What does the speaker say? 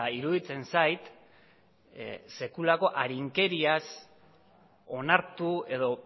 iruditzen zait sekulako arinkeriaz onartu edo